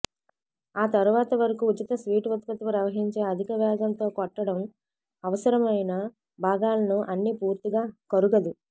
ఆ తరువాత వరకు ఉచిత స్వీట్ ఉత్పత్తి ప్రవహించే అధిక వేగంతో కొట్టడం అవసరమైన భాగాలను అన్ని పూర్తిగా కరుగదు